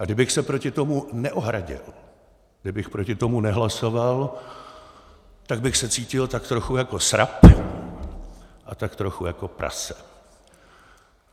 A kdybych se proti tomu neohradil, kdybych proti tomu nehlasoval, tak bych se cítil tak trochu jako srab a tak trochu jako prase!